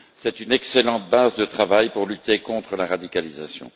C'est une excellente base de travail pour lutter contre la radicalisation.